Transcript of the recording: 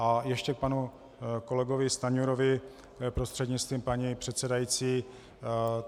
A ještě k panu kolegovi Stanjurovi, prostřednictvím paní předsedající.